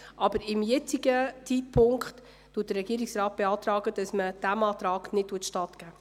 Aber zum jetzigen Zeitpunkt beantragt der Regierungsrat, dass man diesem Antrag nicht stattgibt.